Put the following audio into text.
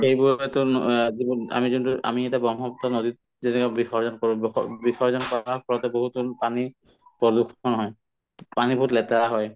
সেইবোৰৰ পৰা অ যিবোৰ আমি যোনতো আমি এতিয়া ব্ৰহ্মপুত্ৰ নদীত যেনেকা বিসৰ্জন কৰো বস বিসৰ্জন কৰা পানী pollution হয় পানী বহুত লেতেৰা হয়